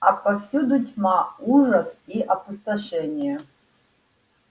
а повсюду тьма ужас и опустошение